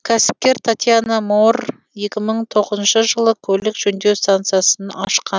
кәсіпкер татьяна моор екі мың тоғызыншы жылы көлік жөндеу станциясын ашқан